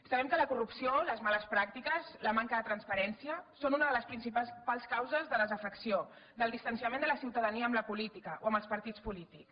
sabem que la corrupció les males pràctiques la manca de transparència són unes de les principals causes de desafecció del distanciament de la ciutadania amb la política o amb els partits polítics